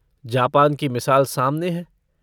Japan की मिसाल सामने है।